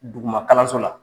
Dugumakalanso la